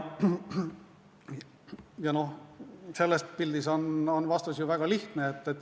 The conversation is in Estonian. Ja selles pildis on vastus väga lihtne.